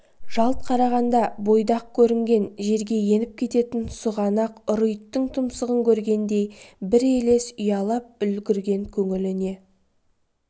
жалт қараған бойда-ақ көрінген жерге еніп кететін сұғанақ ұры иттің тұмсығын көргендей бір елес ұялап үлгірген көңіліне